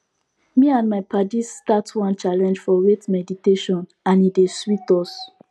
me and my paddies start one challenge for wait meditationand e dey sweet us